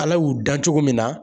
Ala y'u dan cogo min na